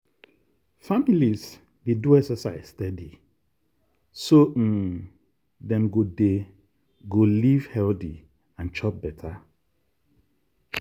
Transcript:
families dey do exercise steady so um dem go dem go live healthy and chop better.